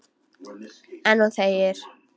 En hún þegir.